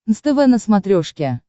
нств на смотрешке